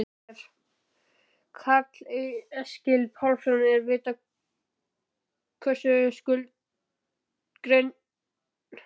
Karl Eskil Pálsson: Er vitað nákvæmlega hversu skuldug greinin er?